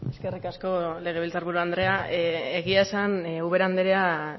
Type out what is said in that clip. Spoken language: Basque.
eskerrik asko legebiltzar buru andrea egia esan ubera andrea